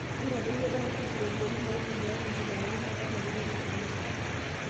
Keitadoyio diocese ropiyiani naitumiai tenkibelekenyata oo larikok lekanisa